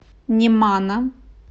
немана